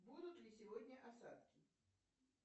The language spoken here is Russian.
будут ли сегодня осадки